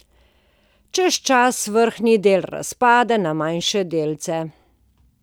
Čez čas vrhnji del razpade na manjše delce.